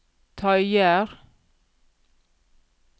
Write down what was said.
tøyer